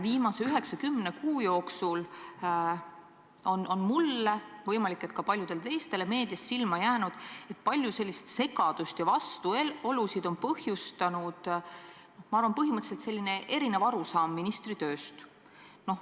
Viimase 9–10 kuu jooksul on mulle – võimalik, et ka paljudele teistele – meedias silma jäänud, et palju segadust ja vastuolusid on põhjustanud erinev arusaam ministri tööst.